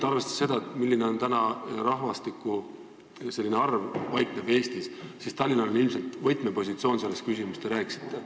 Arvestades seda, milline osa rahvastikust paikneb Eestis, on Tallinnal ilmselt võtmepositsioon selles küsimuses, millest te rääkisite.